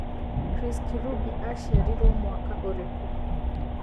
Chris Kirubi acĩarirwo mwaka ũrikũ